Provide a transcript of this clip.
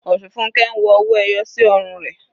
Osunfunke ń wọ owó ẹyọ sí ọrùn rẹ̀.